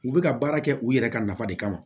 U bɛ ka baara kɛ u yɛrɛ ka nafa de kama